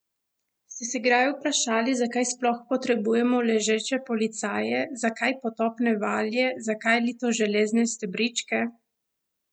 Ste se kdaj vprašali, zakaj sploh potrebujemo ležeče policaje, zakaj potopne valje, zakaj litoželezne stebričke?